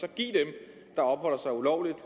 af opholder sig ulovligt i